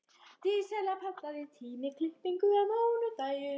Dísella, pantaðu tíma í klippingu á mánudaginn.